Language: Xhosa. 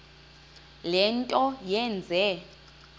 le nto yenze